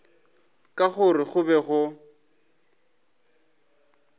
ka gore go be go